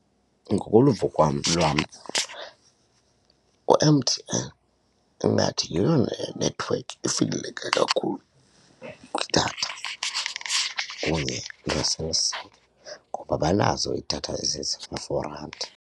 Ngokoluvo kwam lwam u-M_T-N ingathi yiyona nethiwekhi ifikeleleka kakhulu kwidatha kunye neCell C ngoba banazo iidatha randi.